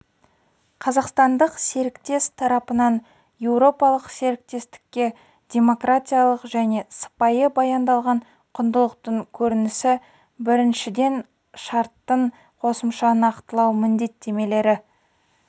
қазақстандық серіктес тарапынан еуропалық серіктестікке демократиялық және сыпайы баяндалған құндылықтың көрінісі біріншіден шарттың қосымша нақтылау міндеттемелері